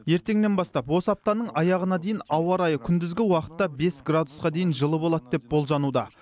ертеңнен бастап осы аптаның аяғына дейін ауа райы күндізгі уақытта бес градусқа дейін жылы болады деп болжануда